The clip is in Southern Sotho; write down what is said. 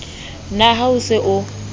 na ha o se o